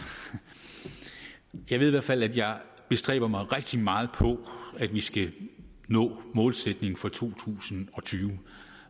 jeg ved i hvert fald at jeg bestræber mig rigtig meget på at vi skal nå målsætningen for to tusind og tyve